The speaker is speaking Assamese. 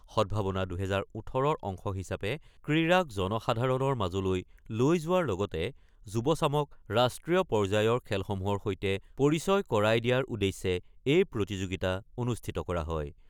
সদ্ভাৱনা-২০১৮ৰ অংশ হিচাপে ক্ৰীড়াক জনসাধাৰণৰ মাজলৈ লৈ যোৱাৰ লগতে যুৱ চামক ৰাষ্ট্ৰীয় পৰ্য্যায়ৰ খেলসমূহৰ সৈতে পৰিচয় কৰাই দিয়াৰ উদ্দেশ্যে এই প্ৰতিযোগিতা অনুষ্ঠিত কৰা হয়।